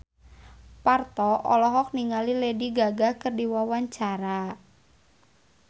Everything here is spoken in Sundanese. Parto olohok ningali Lady Gaga keur diwawancara